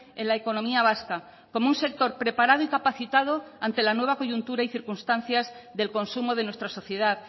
en la economía vasca como un sector preparado y capacitado ante la nueva coyuntura y circunstancias del consumo de nuestra sociedad